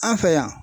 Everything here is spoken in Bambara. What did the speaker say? An fɛ yan